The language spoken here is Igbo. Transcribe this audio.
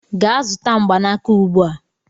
Gaa zụta mgbanaka ugbu a!